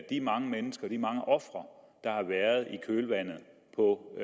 de mange mennesker de mange ofre der har været i kølvandet på